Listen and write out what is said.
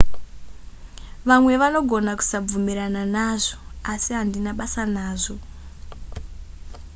vamwe vanogona kusabvumirana nazvo asi handina basa nazvo